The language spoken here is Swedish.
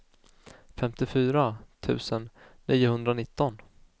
femtiofyra tusen niohundranitton